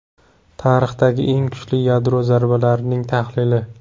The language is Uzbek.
Tarixdagi eng kuchli yadro zarbalarining tahlili.